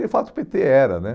E, de fato, o pê tê era, né?